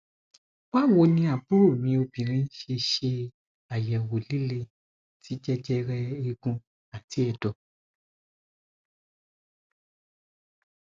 bawoni aburo mi obinrin sese se ayewo lile ti jejere eegun ati edo